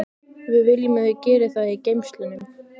Við viljum að þau geri það í geymslunum.